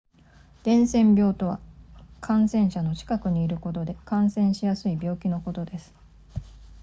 伝染病とは感染者の近くにいることで感染しやすい病気のことです